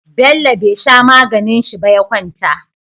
Bello be sha maganin shi ba ya kwanta